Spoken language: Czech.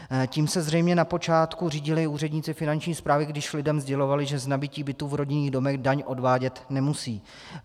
Tím se zřejmě na počátku řídili úředníci Finanční správy, když lidem sdělovali, že z nabytí bytů v rodinných domech daň odvádět nemusí.